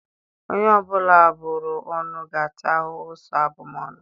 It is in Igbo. Onye ọbụla a bụrụ ọnụ ga-ata ahụhụ so abụmọnụ.